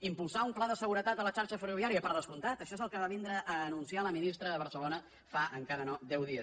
impulsar un pla de seguretat a la xarxa ferroviària per descomptat això és el que va venir a anunciar la ministra a barcelona fa encara no deu dies